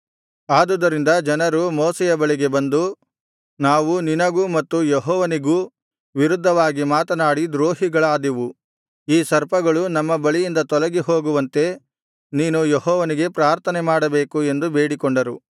ಆದುದರಿಂದ ಜನರು ಮೋಶೆಯ ಬಳಿಗೆ ಬಂದು ನಾವು ನಿನಗೂ ಮತ್ತು ಯೆಹೋವನಿಗೂ ವಿರುದ್ಧವಾಗಿ ಮಾತನಾಡಿ ದ್ರೋಹಿಗಳಾದೆವು ಈ ಸರ್ಪಗಳು ನಮ್ಮ ಬಳಿಯಿಂದ ತೊಲಗಿಹೋಗುವಂತೆ ನೀನು ಯೆಹೋವನಿಗೆ ಪ್ರಾರ್ಥನೆಮಾಡಬೇಕು ಎಂದು ಬೇಡಿಕೊಂಡರು